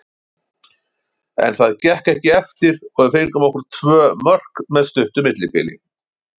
En það gekk ekki eftir og við fengum á okkur tvö mörk með stuttu millibili.